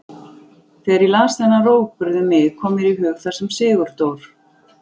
Þegar ég las þennan rógburð um mig kom mér í hug það sem Sigurdór